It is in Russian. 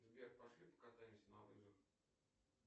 сбер пошли покатаемся на лыжах